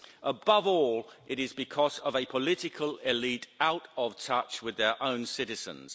Above all, it is because of a political elite out of touch with their own citizens.